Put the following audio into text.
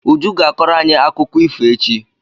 Uju ga-akọrọ anyi akụkọ ifo echi.